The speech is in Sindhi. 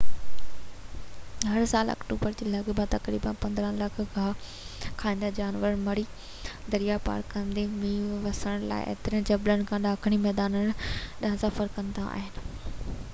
هر سال آڪٽوبر جي لڳ ڀڳ تقريباً 15 لک گاهه کائيندڙ جانور مري درياء پار ڪندي مينهن وسڻ لاءِ اترين جبلن کان ڏاکڻي ميدانن ڏانهن سفر ڪندا آهن